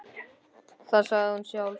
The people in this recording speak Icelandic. Það sagði hún sjálf.